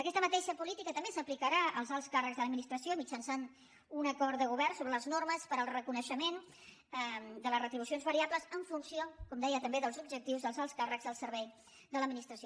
aquesta mateixa política també s’aplicarà als alts càrrecs de l’administració mitjançant un acord de govern sobre les normes per al reconeixement de les retribucions variables en funció com deia també dels objectius dels alts càrrecs al servei de l’administració